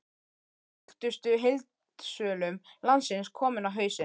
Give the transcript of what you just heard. Einn af þekktustu heildsölum landsins kominn á hausinn!